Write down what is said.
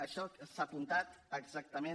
això s’ha apuntat exactament